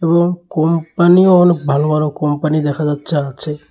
এবং কোম্পানিও অনেক ভালো ভালো কোম্পানি দেখা যাচ্ছে আছে।